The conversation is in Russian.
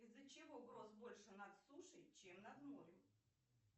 из за чего гроз больше над сушей чем над морем